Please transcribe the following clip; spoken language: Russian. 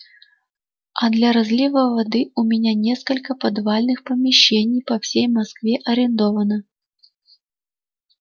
а для разлива воды у меня несколько подвальных помещений по всей москве арендовано